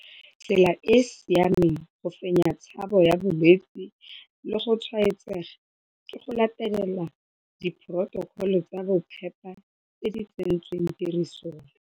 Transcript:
Tsela e e siameng go fenya tshabo ya bolwetse le go tshwaetsega ke go latela diphorotokholo tsa bophepa tse di tsentsweng tirisong.